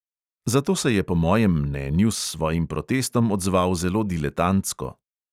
Zato se je po mojem mnenju s svojim protestom odzval zelo diletantsko.